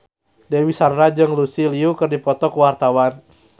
Dewi Sandra jeung Lucy Liu keur dipoto ku wartawan